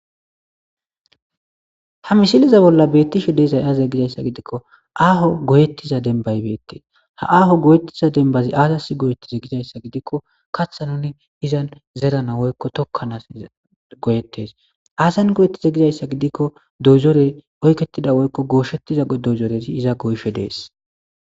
Ha misileza bolli beeththisre de7izay aazee gizayssa gidikko aaho goyeththiza dembbay beeththes; ha aaho goyeththiza dembbathi aazassi goyeththize gizayssa gidikko kaththanne izan zerana woykko thokkanas goyeththes; ha asan goyeththize gizayssa gidikko doyzoree oykeththida woykko goosheththiza doyzorethi iza goyishe de7ees.